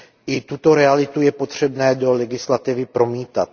I tuto realitu je potřebné do legislativy promítat.